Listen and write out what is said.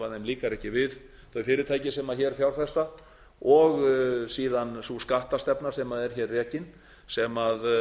líkar ekki við þau fyrirtæki sem þau fjárfesta og síðan sú skattastefna sem er hér rekin sem